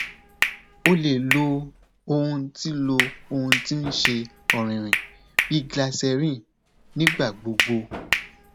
o le lo ohun ti lo ohun ti n ṣe ọrinrinrin bi glycerin nigba gbogbo